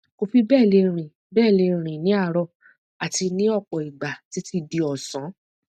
kò fi bẹẹ lè rìn bẹẹ lè rìn ní àárọ àti ní ọpọ ìgbà títí di ọsán